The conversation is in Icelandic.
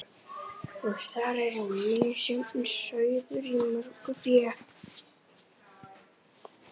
Og þar er misjafn sauður í mörgu fé.